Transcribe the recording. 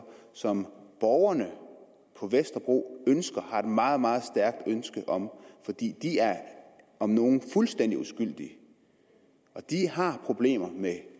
som borgerne på vesterbro har et meget meget stærkt ønske om og de er om nogen fuldstændig uskyldige de har problemer med